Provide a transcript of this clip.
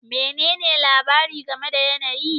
Menene labari game da yanayi?